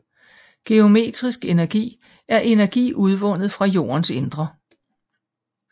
Geotermisk energi er energi udvundet fra jordens indre